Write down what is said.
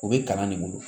U bɛ kalan de bolo